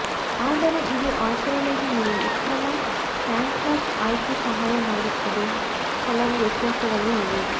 ಆದರೆ ಇದು ಆಚರಣೆಗೆ ನೀವು ಉತ್ತಮ ಕಾಗ್ನ್ಯಾಕ್ ಆಯ್ಕೆ ಸಹಾಯ ಮಾಡುತ್ತದೆ ಕೆಲವು ವ್ಯತ್ಯಾಸಗಳು ಇವೆ